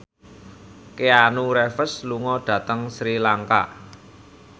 Keanu Reeves lunga dhateng Sri Lanka